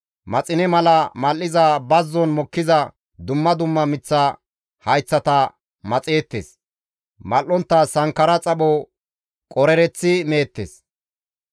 Maxine mala mal7iza bazzon mokkiza dumma dumma miththa hayththata maxeettes; mal7ontta sankkara xapho qorereththi meettes.